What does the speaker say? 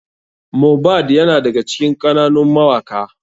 Mohbad yana daga cikin ƙananun mawaka.